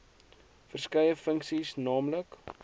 verskeie funksies nl